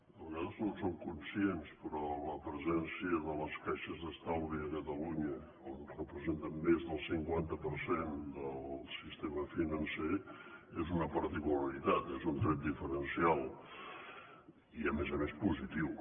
de vegades no en som conscients però la presència de les caixes d’estalvi a catalunya on representen més del cinquanta per cent del sistema financer és una particularitat és un tret diferencial i a més a més positiu